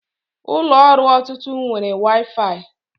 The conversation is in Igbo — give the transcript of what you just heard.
Ụlọ ọrụ ọtụtụ nwere waifai